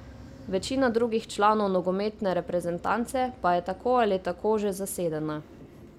Večina drugih članov nogometne reprezentance pa je tako ali tako že zasedena.